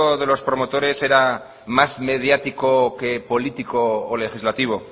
de los promotores era más mediático que político o legislativo